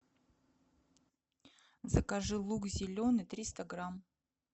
закажи лук зеленый триста грамм